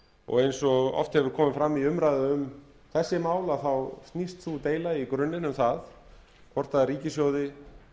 og eins og oft hefur komið fram í umræðu um þessi mál þá snýst sú deila í grunninn um það hvort ríkissjóði